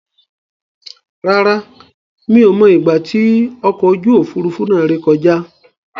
Rárá, mi ò mọ ìgbà tí ọkọ̀ ojú Òfurufú náà rè kọjá.